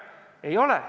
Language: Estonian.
Ei ole nii.